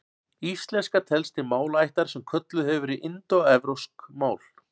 Íslenska telst til málaættar sem kölluð hefur verið indóevrópsk mál.